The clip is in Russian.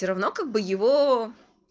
всё равно как бы его